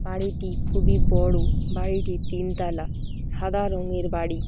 বাড়িটি খুবই বড় বাড়িটি তিন তলা সাদা রঙের বাড়ি।